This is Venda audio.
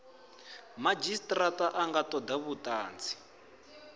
madzhisitirata a nga toda vhutanzi